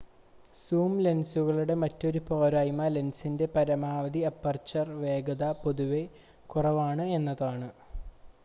zoom ലെൻസുകളുടെ മറ്റൊരു പോരായ്മ ലെൻസിന്റെ പരമാവധി അപ്പർച്ചർ വേഗത പൊതുവെ കുറവാണ് എന്നതാണ്